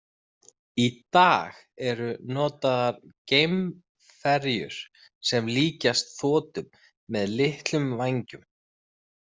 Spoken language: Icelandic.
Í dag eru notaðar geimferjur sem líkjast þotum með litlum vængum.